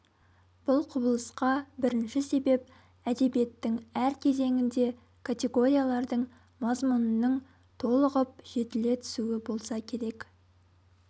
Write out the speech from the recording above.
бұл құбылысқа бірінші себеп әдебиеттің әр кезеңінде категориялардың мазмұнының толығып жетіле түсуі болса керек